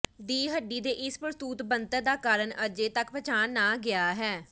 ਦੀ ਹੱਡੀ ਦੇ ਇਸ ਪ੍ਸੂਤ ਬਣਤਰ ਦਾ ਕਾਰਨ ਅਜੇ ਤੱਕ ਪਛਾਣ ਨਾ ਗਿਆ ਹੈ